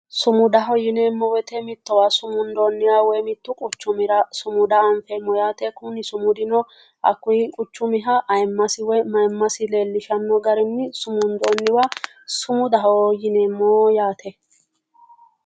Sumudaho yineemmo woyte mittowa sumundoonniha woy mittu quchumira sumuda afeemmo yaate, kuni sumudino hakkuy quchumiha ayiimmasi woy mayiimmasi leellishshanno garinni sumundoonniwa sumudaho yineemmo yaate.